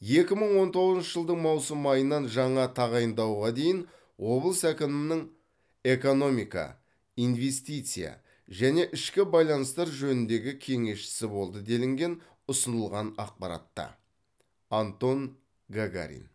екі мың он тоғызыншы жылдың маусым айынан жаңа тағайындауға дейін облыс әкімінің экономика инвестиция және ішкі байланыстар жөніндегі кеңесшісі болды делінген ұсынылған ақпаратта антон гагарин